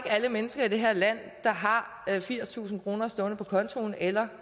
alle mennesker i det her land der har firstusind kroner stående på kontoen eller